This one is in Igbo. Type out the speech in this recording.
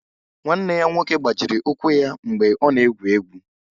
Nwanne ya nwoke gbajiri ụkwụ ya mgbe ọ nọ na-egwu egwu